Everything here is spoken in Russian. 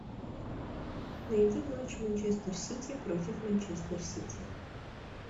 найди матч манчестер сити против манчестер сити